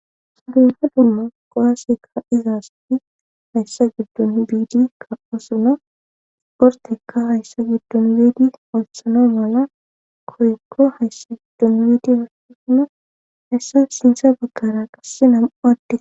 sadumma dumma qowaaseka izaasfi hayssa giddon biidi ka7o suna ortekka hayssa giddon biidi olsano mala koykko hayssa giddon biidi hashisuno hessa sinsa baggara qasse nam7u adde